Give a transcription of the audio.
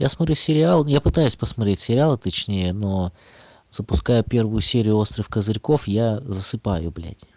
я смотрю сериал я пытаюсь посмотреть сериал а точнее но запускаю первую серию острых козырьков я засыпаю блядь